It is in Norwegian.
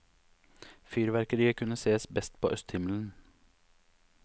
Fyrverkeriet kunne sees best på østhimmelen.